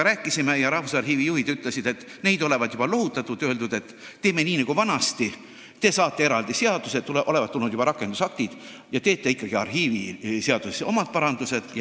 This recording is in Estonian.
Rääkisin Rahvusarhiiviga, mille juhid ütlesid, et neid olevat juba lohutatud ja öeldud, et teeme nii nagu vanasti: te saate eraldi seaduse, rakendusaktid olevat juba tulnud, ja te teete ikkagi arhiiviseaduses omad parandused.